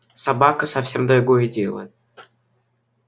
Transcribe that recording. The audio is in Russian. собака совсем другое дело